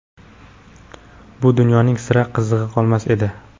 bu dunyoning sira qizig‘i qolmas edi.